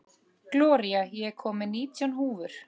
Gloría, ég kom með nítján húfur!